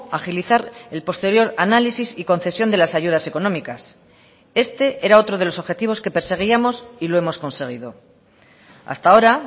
agilizar el posterior análisis y concesión de las ayudas económicas este era otro de los objetivos que perseguíamos y lo hemos conseguido hasta ahora